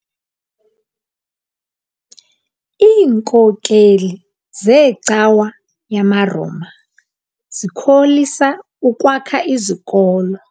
Iinkokeli zeecawa yamaRoma zikholisa ukwakha izikolo.